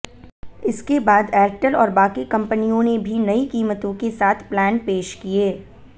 इसके बाद एयरटेल और बाकी कंपनियों ने भी नई कीमतों के साथ प्लान पेश किए